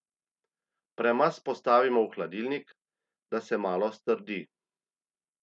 Premaz postavimo v hladilnik, da se malo strdi.